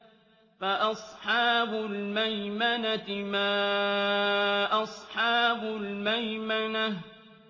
فَأَصْحَابُ الْمَيْمَنَةِ مَا أَصْحَابُ الْمَيْمَنَةِ